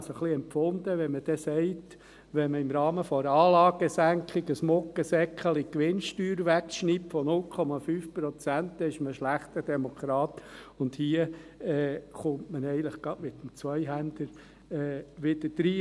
Ich empfinde es ein wenig, dass man sagte, wenn man im Rahmen einer Anlagensenkung ein «Muggeseckli» Gewinnsteuer von 0,5 Prozent wegschneide, sei man ein schlechter Demokrat, und hier schlägt man gleich mit dem Zweihänder drein.